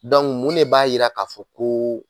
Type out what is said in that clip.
mun de b'a yira k'a fɔ kooo.